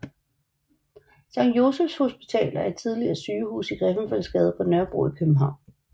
Sankt Josephs Hospital er et tidligere sygehus i Griffenfeldsgade på Nørrebro i København